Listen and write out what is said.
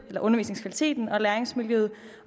undervisningskvaliteten og læringsmiljøet